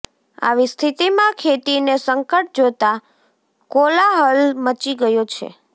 આવી સ્થિતિમાં ખેતીને સંકટ જોતાં કોલાહલ મચી ગયો છે